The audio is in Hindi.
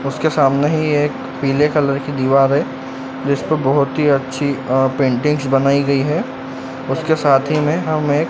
उसके सामने ही एक पीले कलर की दीवार है जिसको बहोत ही अच्छी अ पेंटिंग्स बनाई गई है उसके साथ ही में हम एक--